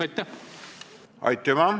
Aitüma!